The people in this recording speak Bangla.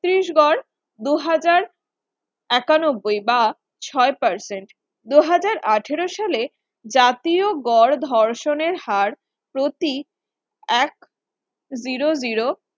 ছত্রিশগড় দু হাজার একানব্বই বা ছয় Percent দু হাজার আঠেরো সালে জাতীয় গড় ধর্ষণের হার প্রতি এক Zero Zero